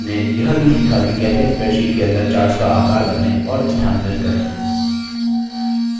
हमने यह भी सीखा कि कैसे spreadsheet के अंदर charts का आकार बदलें और स्थानांतरित करें